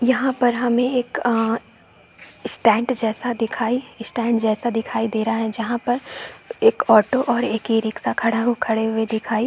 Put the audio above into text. यहाँ पर हमें एक अ स्टैंड जैसा दिखाई स्टैंड जैसा दिखाई दे रहा है जहाँ पर एक ऑटो और एक ए रिक्शा खड़ा खड़े हुए दिखाई --